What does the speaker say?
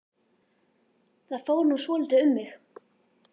Það fór nú svolítið um mig.